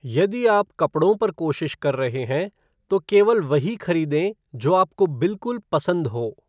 यदि आप कपड़ों पर कोशिश कर रहे हैं, तो केवल वही खरीदें जो आपको बिल्कुल पसंद हो।